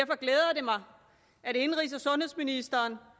mig at indenrigs og sundhedsministeren